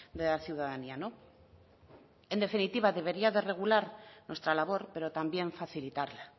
de la ciudadanía no en definitiva debería de regular nuestra labor pero también facilitarla